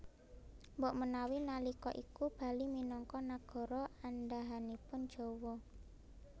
Mbok menawi nalika iku Bali minangka nagara andhahanipun Jawa